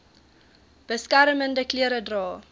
beskermende klere dra